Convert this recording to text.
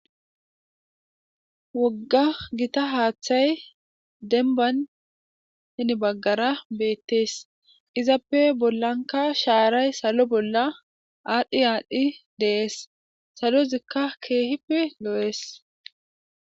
Wogga gitta haaththay denban henibaggara beettees izappe bollanka shaaray salo bolla aadhdhi aadhdhi deees salo zikka keehippe lo'ees